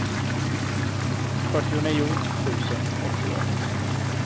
fyrtionio tusen åttioett